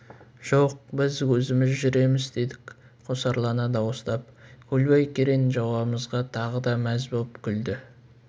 жоқ біз өзіміз жүреміз дедік қосарлана дауыстап көлбай керең жауабымызға тағы да мәз боп күлді